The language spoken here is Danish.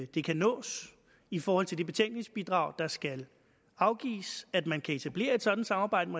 det kan nås i forhold til det betænkningsbidrag der skal afgives at man kan etablere et sådant samarbejde